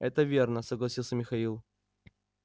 это верно согласился михаил